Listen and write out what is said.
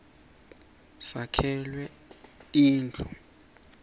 sakhelwa tindu